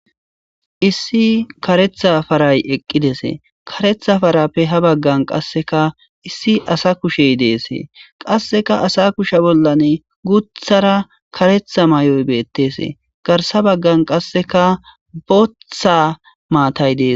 issi karetha paray eqqidese karetha parappe ha baggan qasseka issi asa kushey deesee qasseka asa kusha bollan guthara karetha may7oy beetteesee garsa baggan qasseka botha maatay dees